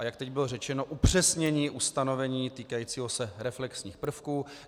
A jak teď bylo řečeno, upřesnění ustanovení týkajícího se reflexních prvků.